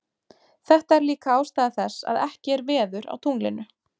Þetta er líka ástæða þess að ekki er veður á tunglinu.